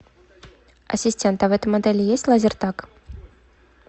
ассистент а в этом отеле есть лазертаг